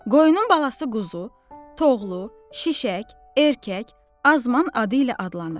Qoyunun balası quzu, toğlu, şişək, erkək, azman adı ilə adlanır.